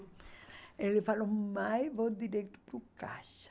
Ele falou, mãe, vou direto para o caixa.